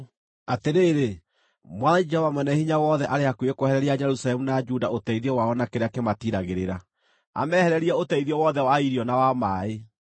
Atĩrĩrĩ, Mwathani, Jehova Mwene-Hinya-Wothe, arĩ hakuhĩ kwehereria Jerusalemu na Juda ũteithio wao na kĩrĩa kĩmatiiragĩrĩra, amehererie ũteithio wothe wa irio na wa maaĩ,